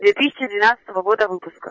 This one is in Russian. дветысячи двенадцатого года выпуска